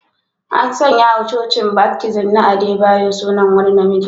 An sanya wa Cocin Baptist na Adebayo sunan wani na miji